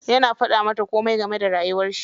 Yana faɗa mata komai game da rayuwar shi.